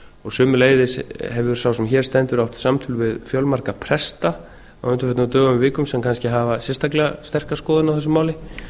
og sömuleiðis hefur sá sem hér stendur átt samtöl við fjölmarga presta á undanförnum dögum og vikum sem kannski hafa sérstaklega sterka skoðun á þessu máli